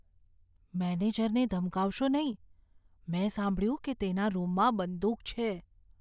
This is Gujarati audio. મેનેજરને ધમકાવશો નહીં. મેં સાંભળ્યું કે તેના રૂમમાં બંદૂક છે.